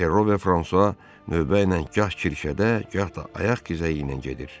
Perro və Fransua növbə ilə gah kirşədə, gah da ayaq gəzəyi ilə gedir.